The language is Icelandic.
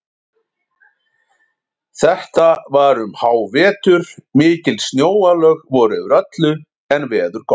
Þetta var um hávetur, mikil snjóalög voru yfir öllu en veður gott.